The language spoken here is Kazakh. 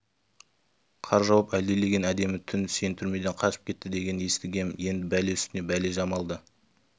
қар жауып әлдилеген әдемі түн сен түрмеден қашып кетті дегенді естігем енді бәле үстіне бәле жамалды